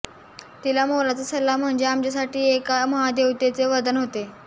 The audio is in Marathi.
तिचा मोलाचा सल्ला म्हणजे आमच्यासाठी एका महादेवतेचे वरदान होते